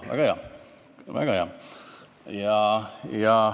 Aa, väga hea.